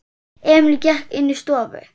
Emil gekk inní stofu.